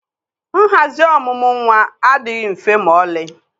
nhazi ọmụmụ nwa adịghị mfe ma ọlị